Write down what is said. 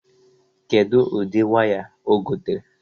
Kedu ụdị waya o gotere?